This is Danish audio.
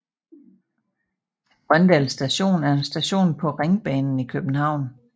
Grøndal Station er en station på Ringbanen i København